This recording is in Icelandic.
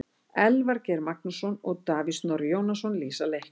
Elvar Geir Magnússon og Davíð Snorri Jónasson lýsa leiknum.